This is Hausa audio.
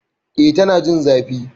E, Tana jin zafi